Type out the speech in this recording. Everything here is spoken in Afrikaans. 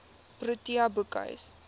protea boekhuis